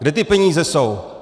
Kde ty peníze jsou?